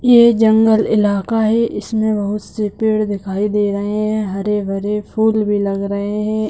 ये जंगल इलाका है इसमें बहुत से पेड़ दिखाई दे रहे हैं हरे-भरे फूल भी लग रहे है।